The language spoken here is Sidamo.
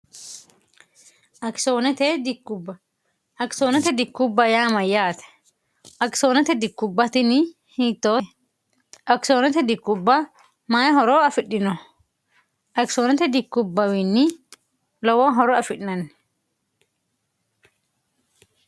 idakisoonote dikkubba yaama yaate akisoonote dikkubbatini hitoo akisoonote dikkubba mayi horo afidhino akisoonote dikkubbawiinni lowoo horo afi'nanni